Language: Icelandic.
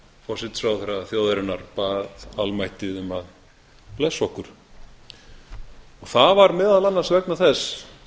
forsætisráðherra þjóðarinnar bað almættið um að blessa okkur það var meðal annars vegna þess